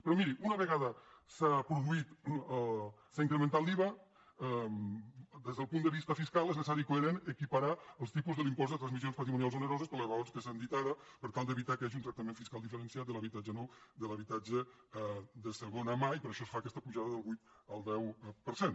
però miri una vegada s’ha incrementat l’iva des del punt de vista fiscal és necessari i coherent equiparar els tipus de l’impost de transmissions patrimonials oneroses per les raons que s’han dit ara per tal d’evitar que hi hagi un tractament fiscal diferenciat de l’habitatge nou de l’habitatge de segona mà i per això es fa aquesta apujada del vuit al deu per cent